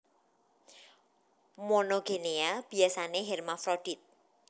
Monogenea biasané hermafrodit